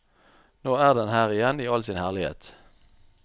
Nå er den her igjen i all sin herlighet.